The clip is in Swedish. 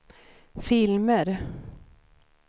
filmer